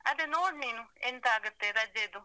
ಅದೆ, ನೋಡ್ ನೀನು